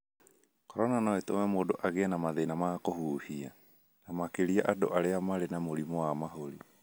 Corona no ĩtũme mũndũ agĩe na mathĩna ma kũhuhia, na makĩria andũ arĩa marĩ na mũrimũ wa mahũri